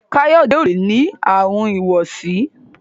Kayode o lẹ ní Àrùn ìwọsí.